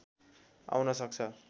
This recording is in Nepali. आउन सक्छ